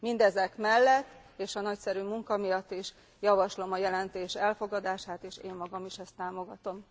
Mindezek mellett és a nagyszerű munka miatt is javaslom a jelentés elfogadását, és én magam is ezt támogatom.